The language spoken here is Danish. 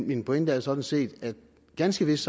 min pointe er sådan set at ganske vist